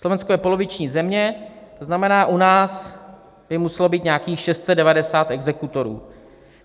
Slovensko je poloviční země, to znamená, u nás by muselo být nějakých 690 exekutorů.